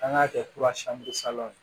An k'a kɛ ye